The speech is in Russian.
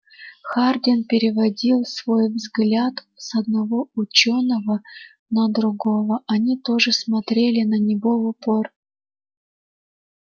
хардин переводил свой взгляд с одного учёного на другого они тоже смотрели на него в упор